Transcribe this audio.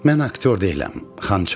Mən aktyor deyiləm, Xançalov.